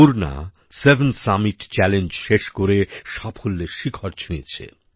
Purna seven summit challenge শেষ করে সাফল্যের শিখর ছুঁয়েছে